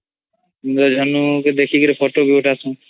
ଇନ୍ଦ୍ରଧନୁ ଦେଖି କରି ଫୋଟୋ ବି ଉଠାସନ୍